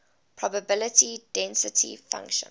probability density function